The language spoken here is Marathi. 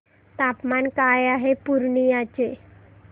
तापमान काय आहे पूर्णिया चे